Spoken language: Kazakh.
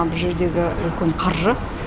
бұл жердегі үлкен қаржы